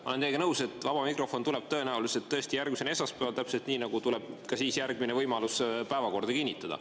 Ma olen teiega nõus, et vaba mikrofon tuleb tõenäoliselt tõesti järgmisel esmaspäeval, täpselt nii nagu tuleb ka siis järgmine võimalus päevakorda kinnitada.